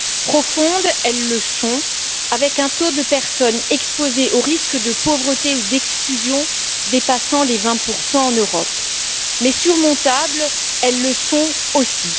Profondes, elles le sont, avec un taux de personnes exposées au risque de pauvreté ou d'exclusion dépassant les 20 en Europe, mais surmontables, elles le sont aussi.